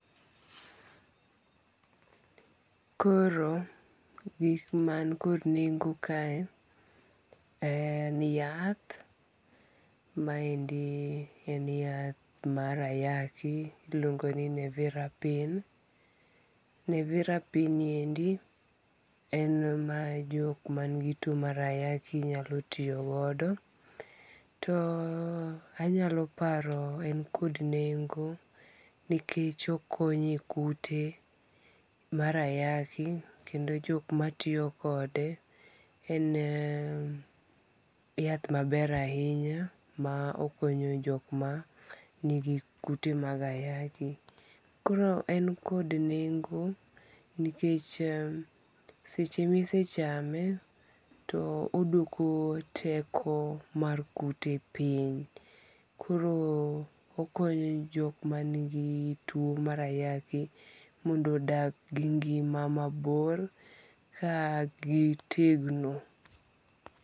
Koro gik man kod nengo kae, en yath maendi en yath marayaki ma iluongo ni nevirapine. Nevirapine niendi en mar jok manigi two marayaki nyalotiyo godo, too anyalo paro en kod nengo nikech okonyi e kute mar ayaki kendo jok matiyo kode en yath maber ahinya ma okonyo jok ma nigi kute maga ayaki. Koro en kod nengo nikech seche ma isechame to oduoko teko mar kute piny koro okonyo jok manigi two marayaki mondo odak gi ngi'ma mabor kagitegno.